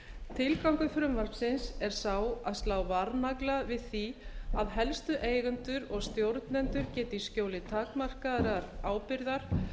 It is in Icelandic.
tilgangur frumvarpsins er sá að slá varnagla við því að helstu eigendur og stjórnendur geti í skjóli takmarkaðrar ábyrgðar